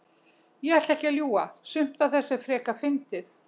Ég ætla ekki að ljúga. sumt af þessu er frekar fyndið.